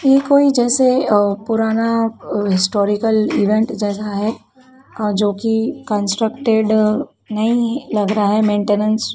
ये कोई जैसे पुराना हिस्टोरिकल इवेंट जैसा है अं जोकि कंस्ट्रक्टेड नहीं लग रहा है मेंटेनेंस --